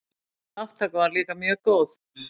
Þátttaka var líka mjög góð.